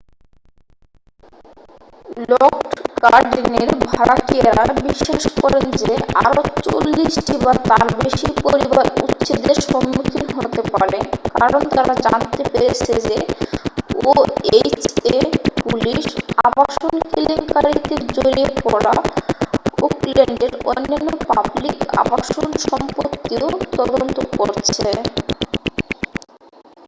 Lockwood গার্ডেনের ভাড়াটিয়ারা বিশ্বাস করেন যে আরও 40 টি বা তার বেশি পরিবার উচ্ছেদের সম্মুখীন হতে পারে কারণ তারা জানতে পেরেছে যে oha পুলিশ আবাসন কেলেঙ্কারীতে জড়িয়ে পড়া ওকল্যান্ডের অন্যান্য পাবলিক আবাসন সম্পত্তিও তদন্ত করছে